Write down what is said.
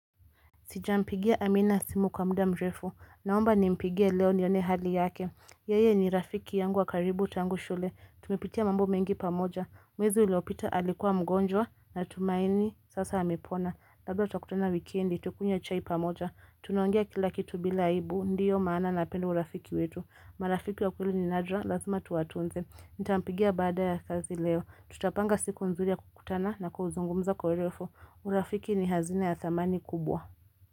Sijampigia Amina simu kwa muda mrefu. Naomba nimpigie leo nione hali yake. Yeye ni rafiki yangu wa karibu tangu shule. Tumepitia mambo mengi pamoja. Mwezu uliopita alikuwa mgonjwa natumaini sasa amepona. Labda tutakutana wikendi. Tukunywe chai pamoja. Tunaongea kila kitu bila aibu. Ndiyo maana napenda urafiki wetu. Marafiki wa kweli ni nadra. Lazima tuwatunze. Nitampigia baada ya kazi leo. Tutapanga siku nzuri ya kukutana na kuzungumza kwa urefu. Urafiki ni hazina ya thamani kubwa.